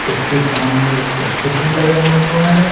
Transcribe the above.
उसके सामने एक स्कूटी लगा हुआ है।